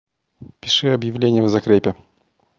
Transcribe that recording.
пиши объявление в закрепе